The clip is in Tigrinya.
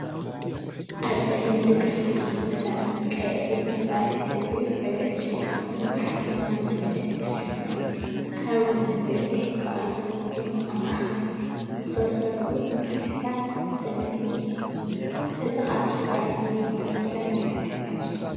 ኣብ ጸሊም መደገፊ ኮፍ ኢሉ መሳርሒ ሙዚቃ የርኢ። እዚ መሳርሒ እዚ ሕብሩ ዕንጨይቲ ኮይኑ ብሓጺናዊ መፍትሕ ዝተሸፈነ እዩ። ኣብ ወሰን ገፊሕ ክፋል ዘለዎ ኮይኑ ኣብ ማእከል ብዝተሰርዑ መፍትሕታት ዝተመልአ እዩ። እዚ ካብ ስድራቤት ሙዚቃ ዝመጸ መሳርሒ ንፋስ እዩ።